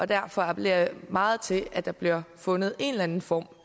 derfor appellerer jeg meget til at der bliver fundet en eller anden form